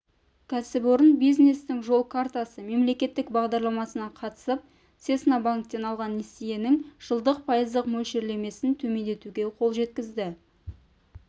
кәсіпорын бизнестің жол картасы мемлекеттік бағдарламасына қатысып цесна банктен алған несиесінің жылдық пайыздық мөлшерлемесін төмендетуге қол жеткізді